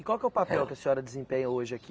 E qual que é o papel que a senhora desempenha hoje aqui?